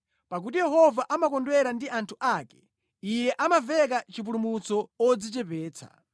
Pakuti Yehova amakondwera ndi anthu ake; Iye amaveka chipulumutso odzichepetsa.